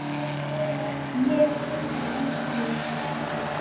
Ég hringdi í hann.